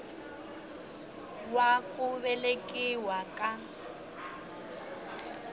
wa ku velekiwa ka n